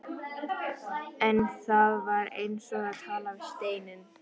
En það var eins og að tala við steininn.